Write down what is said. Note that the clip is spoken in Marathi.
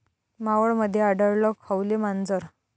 मावळमध्ये आढळलं खवले मांजर